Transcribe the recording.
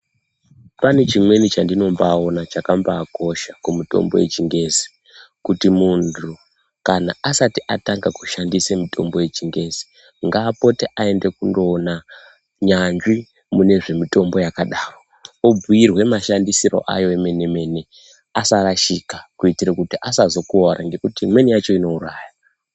Pane chimweni chandinombaona chakabhakosha kumutombo vechingezi. Kuti muntu kana asati atanga kushandise mitombo yechingezi ngapote aende kundoona nyanzvi mune zvemitombo yakadaro, ombuirwe mashandisirwo ayo emene-mene asazorashika kuitira kuti imweni yacho inouraya.